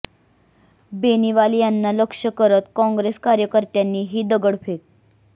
बेनीवाल यांना लक्ष्य करत काँग्रेस कार्यकर्त्यांनी ही दगडफेक